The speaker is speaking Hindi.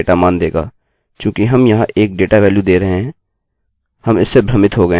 चूँकि हम यहाँ 1 डेटा वैल्यू दे रहे हैं हम इससे भ्रमित हो गये हैं